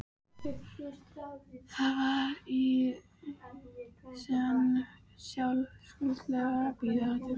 Það var í senn sársaukafull og blíð tilfinning.